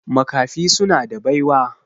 Makafi suna da baiwa.